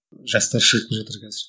жастар шығып жатыр қазір